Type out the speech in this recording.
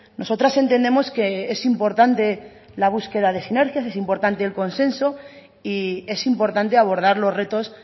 nosotras entendemos que es importante la búsqueda de sinergias es importante el consenso y es importante abordar los retos